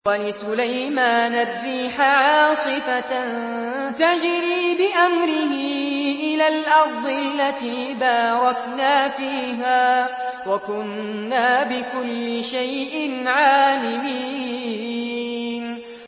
وَلِسُلَيْمَانَ الرِّيحَ عَاصِفَةً تَجْرِي بِأَمْرِهِ إِلَى الْأَرْضِ الَّتِي بَارَكْنَا فِيهَا ۚ وَكُنَّا بِكُلِّ شَيْءٍ عَالِمِينَ